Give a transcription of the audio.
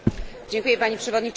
Panie Przewodniczący!